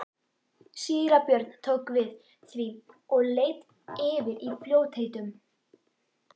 Síra Björn tók við því og leit yfir í fljótheitum.